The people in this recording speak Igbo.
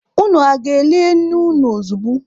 Unu aga-eli nne unu ozogbu?